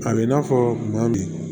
A bɛ i n'a fɔ kuma min